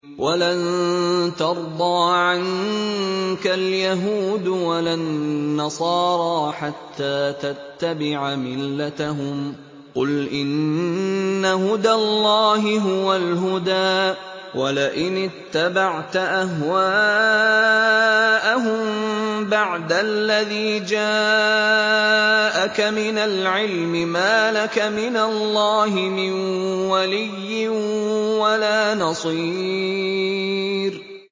وَلَن تَرْضَىٰ عَنكَ الْيَهُودُ وَلَا النَّصَارَىٰ حَتَّىٰ تَتَّبِعَ مِلَّتَهُمْ ۗ قُلْ إِنَّ هُدَى اللَّهِ هُوَ الْهُدَىٰ ۗ وَلَئِنِ اتَّبَعْتَ أَهْوَاءَهُم بَعْدَ الَّذِي جَاءَكَ مِنَ الْعِلْمِ ۙ مَا لَكَ مِنَ اللَّهِ مِن وَلِيٍّ وَلَا نَصِيرٍ